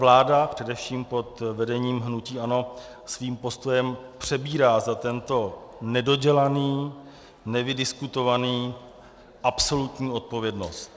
Vláda především pod vedením hnutí ANO svým postojem přebírá za tento nedodělaný, nevydiskutovaný - absolutní odpovědnost.